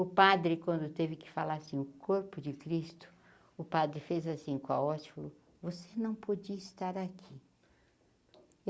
O padre, quando teve que falar assim, o corpo de Cristo, o padre fez assim com a hóstia, falou você não podia estar aqui.